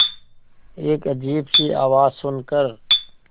एक अजीब सी आवाज़ सुन कर